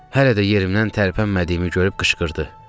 Hələ də yerimdən tərpənmədiyimi görüb qışqırdı: